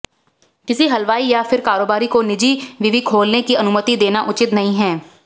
किसी हलवाई या फिर कारोबारी को निजी विवि खोलने की अनुमति देना उचित नहीं है